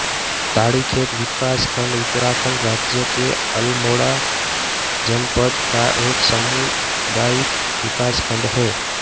ताड़ीखेत विकास खंड उत्तराखण्ड राज्य के अल्मोड़ा जनपद का एक सामुदायिक विकास खंड है